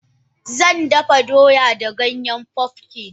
Zandafa doya da Ganyen pumpkin.